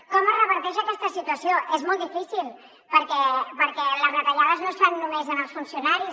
com es reverteix aquesta situació és molt difícil perquè les retallades no es fan només en els funcionaris